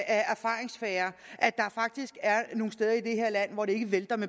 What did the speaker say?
erfaringssfære at der faktisk er nogle steder i det her land hvor de ikke vælter